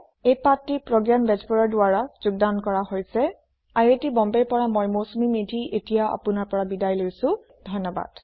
এই পাঠটি প্ৰগয়ানৰ দ্ৱাৰা যোগদান কৰা হৈছে আই আই টী বম্বে ৰ পৰা মই মৌচুমী মেধী এতিয়া আপুনাৰ পৰা বিদায় লৈছো যোগ দিয়াৰ বাবে ধণ্যবাদ